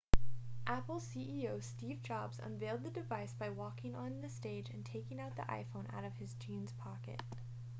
apple ceo steve jobs unveiled the device by walking onto the stage and taking the iphone out of his jeans pocket